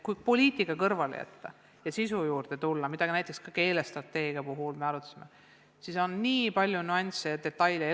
Kui poliitika kõrvale jätta ja sisu juurde tulla, mida näiteks ka keelestrateegia puhul me arutasime, siis on nii palju nüansse ja detaile.